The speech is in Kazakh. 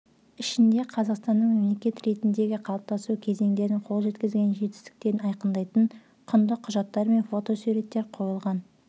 ішінде қазақстанның мемлекет ретіндегі қалыптасу кезеңдерін қол жеткізген жетістіктерін айқындайтын құнды құжаттар мен фотосуреттер қойылған